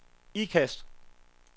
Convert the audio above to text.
Ikast